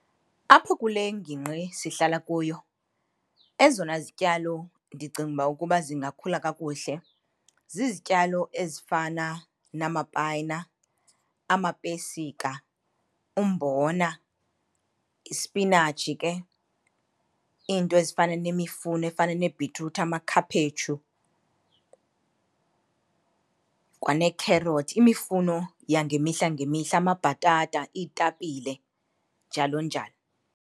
Apho kule ngingqi sihlala kuyo ezona zityalo ndicinga uba ukuba zingakhula kakuhle zizityalo ezifana namapayina, amapesika, umbona, isipinatshi ke, iinto ezifana nemifuno efana neebhitruthi, amakhaphetshu, kwaneekherothi. Imifuno yangemihla ngemihla, amabhatata, iitapile, njalo njalo.